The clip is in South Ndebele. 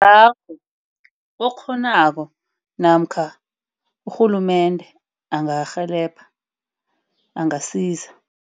Awa, okghonako namkha urhulumende angarhelebha, angasiza.